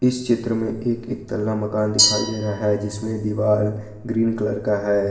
इस चित्र में एक एकतल्ला मकान दिखाई दे रहा है जिसमें दीवार ग्रीन कलर का है।